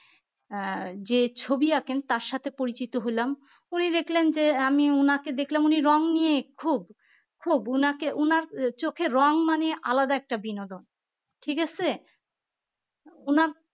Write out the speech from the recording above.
আহ যে ছবি আঁকেন তার সাথে পরিচিত হলাম উনি দেখলেন যে আমি উনাকে দেখলাম উনি রং নিয়ে খুব খুব উনাকে উনার চোখে রং মানে আলাদা একটা বিনোদন ঠিক আসে উনার